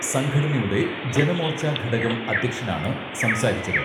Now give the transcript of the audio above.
സംഘടനയുടെ ജനമോർച്ച ഘടകം അധ്യക്ഷനാണ് സംസാരിച്ചത്